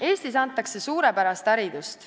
Eestis antakse suurepärast haridust.